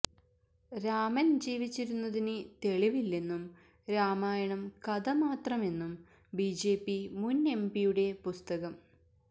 രാമന് ജീവിച്ചിരുന്നതിന് തെളിവില്ലെന്നും രാമായണം കഥ മാത്രമെന്നും ബിജെപി മുന് എംപിയുടെ പുസ്തകം